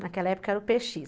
Naquela época era o pê xis.